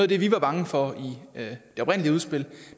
det vi var bange for i det oprindelige udspil